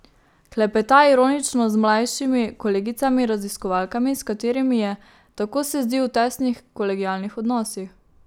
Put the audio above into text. Klepeta, ironično, z mlajšimi kolegicami raziskovalkami, s katerimi je, tako se zdi, v tesnih kolegialnih odnosih.